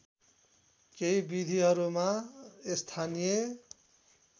केही विधिहरूमा स्थानीय